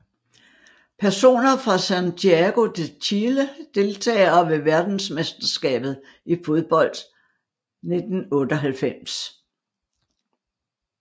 Personer fra Santiago de Chile Deltagere ved verdensmesterskabet i fodbold 1998